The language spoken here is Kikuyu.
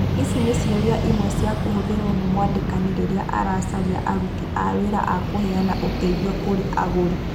Ici nĩ ciũria imwe cia kũhũthĩrwo nĩ mwandĩkani rĩrĩa aracaria arũtĩ a wĩra wa kũheana ũteithio kũrĩ agũri.